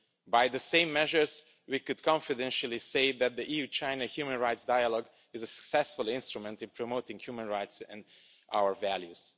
By the same measure, we could confidently say that the EU-China human rights dialogue is a successful instrument in promoting human rights and our values.